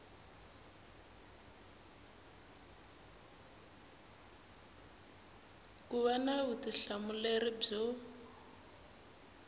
ku va na vutihlamuleri byo